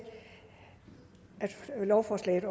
lovforslaget